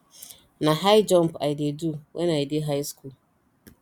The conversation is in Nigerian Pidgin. na high jump i dey do wen i dey high school